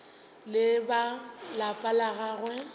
le ba lapa la gagwe